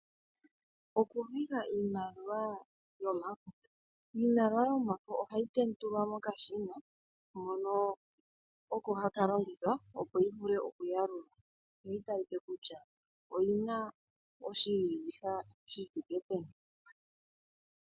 Oku viha iimaliwa yomafo. Iimaliwa yomafo ohayi tendulwa mokashina hono oko haka longithwa opo yi vulu oku yalulwa. Yoyi talike kutya oyina oshi viha shithike peni.